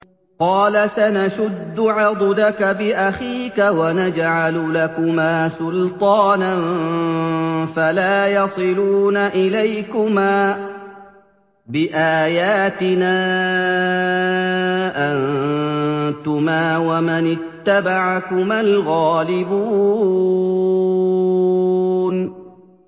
قَالَ سَنَشُدُّ عَضُدَكَ بِأَخِيكَ وَنَجْعَلُ لَكُمَا سُلْطَانًا فَلَا يَصِلُونَ إِلَيْكُمَا ۚ بِآيَاتِنَا أَنتُمَا وَمَنِ اتَّبَعَكُمَا الْغَالِبُونَ